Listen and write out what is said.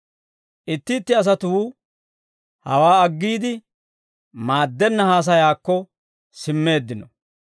Itti itti asatuu hawaa aggiide, maaddenna haasayaakko simmeeddino.